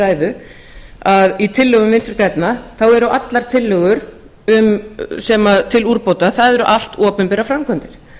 ræðu að í tillögum vinstri grænna þá eru allar tillögur sem eru til úrbóta það eru allt opinberar framkvæmdir